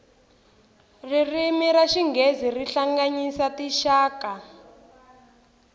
ririmi ra xinghezi ri hlanganyisa tinxaka